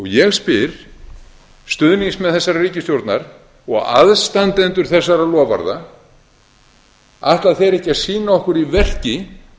ég spyr stuðningsmenn þessarar ríkisstjórnar og aðstandendur þessara loforða ætla þeir ekki að sýna okkur í verki